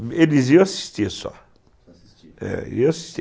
Eles iam assistir só. Iam assistir?